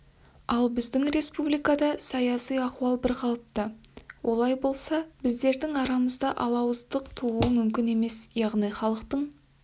ал біздің республикада саяси ахуал бірқалыпты олай болса біздердің арамызда алауыздық тууы мүмкін емес яғни халықтың